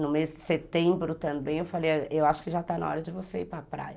No mês de setembro também eu falei, eu acho que já está na hora de você ir para a praia.